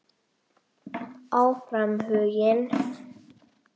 Áfram Huginn.